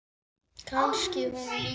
Kannski hún líka?